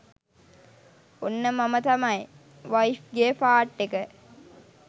ඔන්න මම තමයි වයිෆ්ගේ පාට් එක